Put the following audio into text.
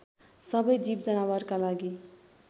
सबै जीवजनावारका लागि